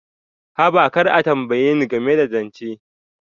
Haba, kar a tambaye ni game da zance.